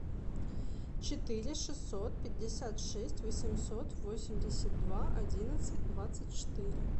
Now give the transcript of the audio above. четыре шестьсот пятьдесят шесть восемьсот восемьдесят два одиннадцать двадцать четыре